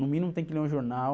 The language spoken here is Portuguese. No mínimo tem que ler um jornal,